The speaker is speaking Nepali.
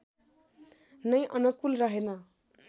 नै अनुकूल रहेन